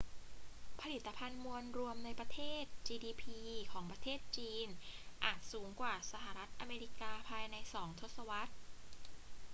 ผลิตภัณฑ์มวลรวมในประเทศ gdp ของประเทศจีนอาจสูงกว่าสหรัฐอเมริกาภายในสองทศวรรษ